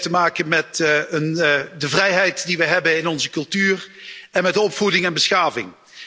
Dat heeft te maken met de vrijheid die wij hebben in onze cultuur en met opvoeding en beschaving.